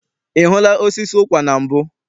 I hụla osisi ụkwa na mbụ?